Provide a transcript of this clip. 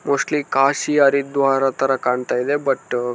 mostly Kashi Haridwar ಥರ ಕಾಣ್ತಾ ಇದೆ ಬಟ್ --